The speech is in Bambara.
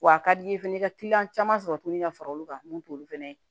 W'a ka di ye fɛnɛ i ka kiliyan caman sɔrɔ tuguni ka fara olu kan mun t'olu fɛnɛ ye